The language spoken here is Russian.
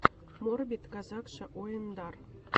морбид казакша ойындар